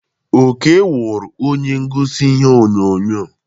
Oke wụrụ onye ngosi ihe onyonyo.